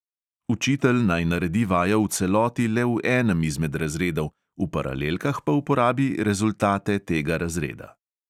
Učitelj naj naredi vajo v celoti le v enem izmed razredov, v paralelkah pa uporabi rezultate tega razreda.